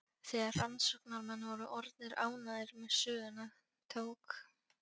Þegar rannsóknarmenn voru orðnir ánægðir með söguna tók